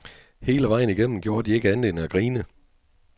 Hele vejen igennem gjorde de ikke andet end at grine.